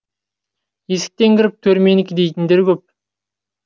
есіктен кіріп төр менікі дейтіндер көп